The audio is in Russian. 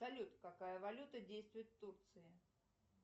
салют какая валюта действует в турции